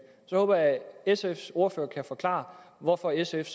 jeg håber at sfs ordfører kan forklare hvorfor sf